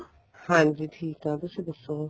ਹਾਂਜੀ ਠੀਕ ਆ ਤੁਸੀਂ ਦੱਸੋ